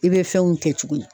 I bɛ fɛnw kɛ cogo